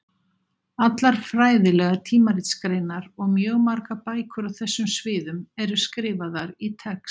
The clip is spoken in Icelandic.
Allar fræðilegar tímaritsgreinar og mjög margar bækur á þessum sviðum eru skrifaðar í TeX.